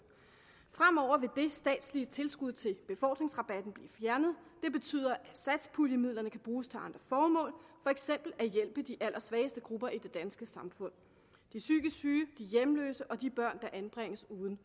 fremover vil det statslige tilskud til befordringsrabatten blive fjernet det betyder at satspuljemidlerne kan bruges til andre formål for eksempel at hjælpe de allersvageste grupper i det danske samfund de psykisk syge de hjemløse og de børn der anbringes uden